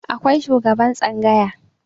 akwai shugaban tsangaya